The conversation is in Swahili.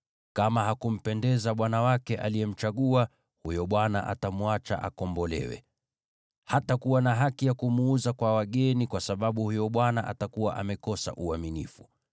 Kama hakumpendeza bwana wake aliyemchagua, huyo bwana atamwacha akombolewe. Hatakuwa na haki ya kumuuza kwa wageni, kwa sababu huyo bwana atakuwa amekosa uaminifu.